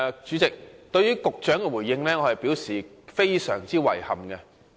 主席，對於局長的回應，我表示非常遺憾。